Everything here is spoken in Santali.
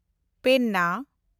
ᱯᱮᱱᱱᱟ